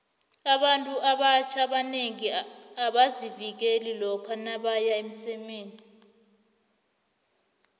abantu abatjna abanengi abazivikeli lokha nabeya emsemeni